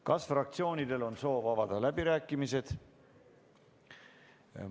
Kas fraktsioonidel on soov avada läbirääkimised?